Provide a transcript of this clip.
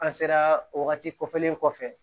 An sera o wagati kɔfɛlen kɔfɛ